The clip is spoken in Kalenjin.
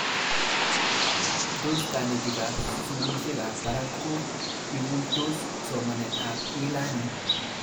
Tos kanetik ab sukulishek ab parak ko ikuitos somanet ab Elearning